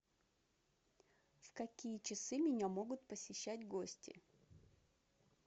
в какие часы меня могут посещать гости